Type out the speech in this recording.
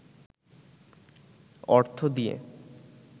অর্থ দিয়ে